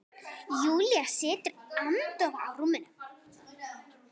Júlía situr agndofa á rúminu.